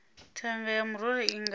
thanga ya murole i nga